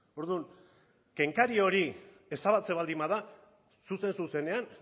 orduan kenkari hori ezabatzen baldin bada zuzen zuzenean